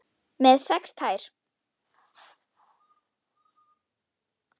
Með sex tær?